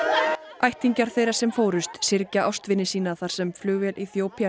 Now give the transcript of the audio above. ættingjar þeirra sem fórust syrgja ástvini sína þar sem flugvél